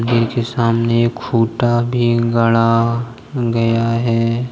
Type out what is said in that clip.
दिर के सामने एक खुटा भी गड़ा गया है।